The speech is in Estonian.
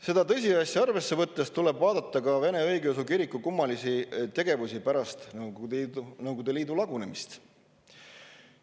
Seda tõsiasja arvesse võttes tuleb vaadata ka Vene Õigeusu Kiriku kummalist tegevust pärast Nõukogude Liidu lagunemist.